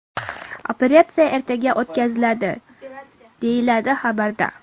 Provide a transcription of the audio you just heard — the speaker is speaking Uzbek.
Operatsiya ertaga o‘tkaziladi”, deyiladi xabarda.